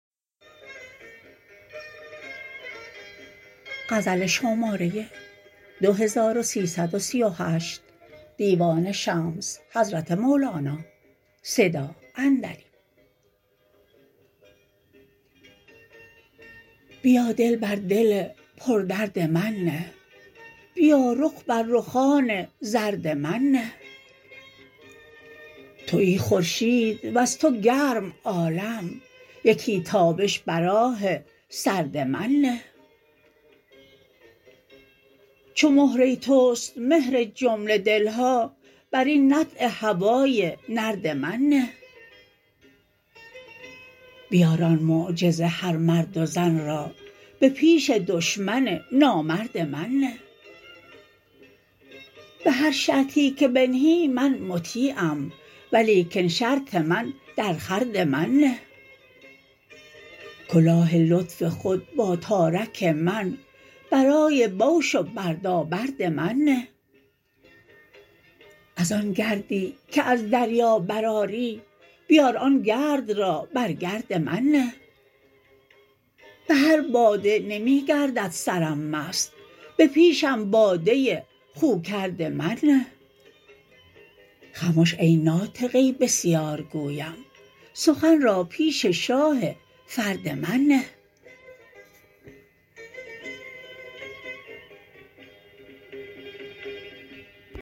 بیا دل بر دل پردرد من نه بیا رخ بر رخان زرد من نه تویی خورشید وز تو گرم عالم یکی تابش بر آه سرد من نه چو مهره توست مهر جمله دل ها بر این نطع هوای نرد من نه بیار آن معجز هر مرد و زن را به پیش دشمن نامرد من نه به هر شرطی که بنهی من مطیعم ولیکن شرط من درخورد من نه کلاه لطف خود با تارک من برای بوش و بردابرد من نه از آن گردی که از دریا برآری بیار آن گرد را بر گرد من نه به هر باده نمی گردد سرم مست به پیشم باده خوکرد من نه خمش ای ناطقه بسیارگویم سخن را پیش شاه فرد من نه